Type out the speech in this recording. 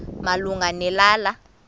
malunga ne lala